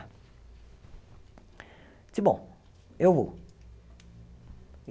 Disse, bom, eu vou.